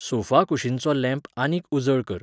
सोफाकुशीनचो lamp आनीक उजळ कर